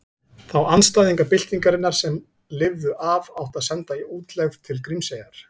Þá andstæðinga byltingarinnar sem lifðu af átti að senda í útlegð til Grímseyjar.